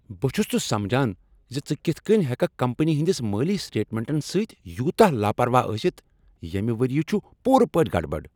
بہٕ چھس نہٕ سمجان ژٕ کتھ کٔنۍ ہیککھ کمپنی ہنٛدس مٲلی سٹیٹمنٹن سۭتۍ یوتاہ لاپرواہ ٲسِتھ۔ ییٚمہ ؤرۍ یہ چھُ پوٗرٕ پٲٹھۍ گڑبڑ۔